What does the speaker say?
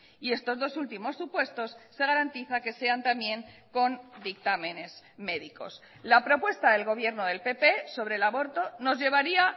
y estos dos últimos supuestos se garantiza que sean también con dictámenes médicos la propuesta del gobierno del pp sobre el aborto nos llevaría